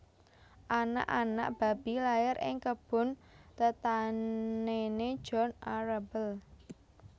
Aanak anak babi lair ing kebun tetanèné John Arable